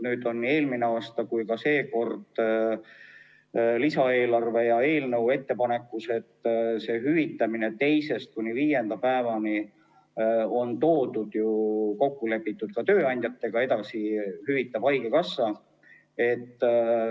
Nüüd oli eelmine aasta lisaeelarves ja on ka seekord lisaeelarve eelnõu ettepanekus sees hüvitamine teisest kuni viienda päevani, see on kokku lepitud ka tööandjatega, ja edasi hüvitab haigekassa.